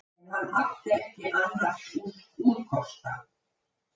En hann átti ekki annars úrkosta